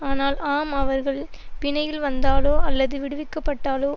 ஆனால் ஆம் அவர்கள் பிணையில் வந்தாலோ அல்லது விடுவிக்கப்பட்டாலோ